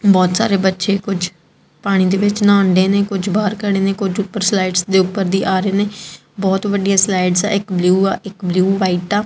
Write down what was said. ਬੋਹੁਤ ਸਾਰੇ ਬੱਚੇ ਕੁਝ ਪਾਣੀ ਦੇ ਵਿੱਚ ਨਹਾਂਡੇਂ ਨੇ ਕੁਝ ਬਾਹਰ ਖੜੇ ਨੇ ਕੁਝ ਊਪਰ ਸਲਾਈਡਸ ਦੇ ਊਪਰ ਦੀ ਆ ਰਹੇ ਨੇ ਬੋਹੁਤ ਵੱਡੀਆਂ ਸਲਾਈਡਸ ਹੈਂ ਇੱਕ ਬਲੂ ਆ ਇੱਕ ਬਲੂ ਵ੍ਹਾਈਟ ਆ।